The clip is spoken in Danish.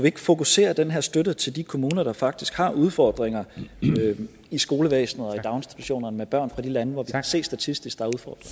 ikke fokusere den her støtte til de kommuner der faktisk har udfordringer i skolevæsenet og i daginstitutionerne med børn fra de lande hvor vi kan se statistisk